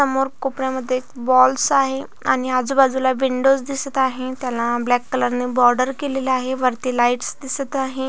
समोर कोपऱ्यामध्ये बॉल्स आहे आणि आजूबाजूला विंडोज दिसत आहे त्याला अ ब्लॅक कलर ने बॉर्डर केलेली आहे वरती लाइट्स दिसत आहे.